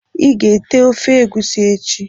Iga ete ofe egusi echi?